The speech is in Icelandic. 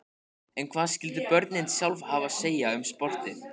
En hvað skyldu börnin sjálf hafa að segja um sportið?